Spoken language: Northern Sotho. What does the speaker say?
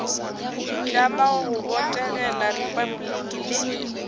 itlama go botegela repabliki le